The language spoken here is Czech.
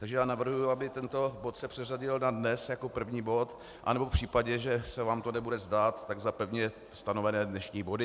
Takže já navrhuji, aby tento bod se předřadil na dnes jako první bod, anebo v případě, že se vám to nebude zdát, tak za pevně stanovené dnešní body.